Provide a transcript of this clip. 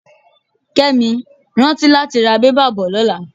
Kẹ́mi, rántí láti ra bẹ́bà bò lọ́la.